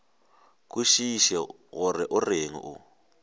kwešiše gore o reng o